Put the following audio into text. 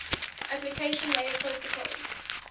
application layer protocols